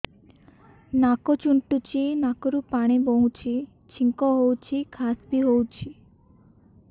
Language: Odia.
ନାକ ଚୁଣ୍ଟୁଚି ନାକରୁ ପାଣି ବହୁଛି ଛିଙ୍କ ହଉଚି ଖାସ ବି ହଉଚି